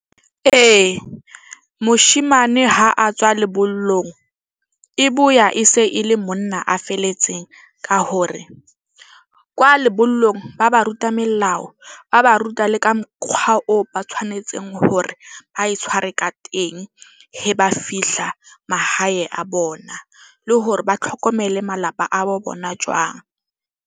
Ee, moshemane ha a tswa lebollong e boya, e se e le monna a felletseng ka hore kwa lebollong ba ba ruta melao. Ba ba ruta le ka mokgwa oo ba tshwanetseng hore ba e tshware ka teng, he ba fihla mahae a bona le hore ba tlhokomele malapa a bo bona jwang.